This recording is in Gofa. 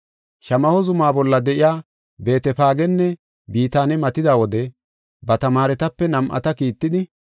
Shamaho zuma bolla de7iya Beetefaagenne Bitaane matida wode ba tamaaretape nam7ata kiittidi,